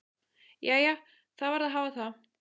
Jæja, það varð að hafa það.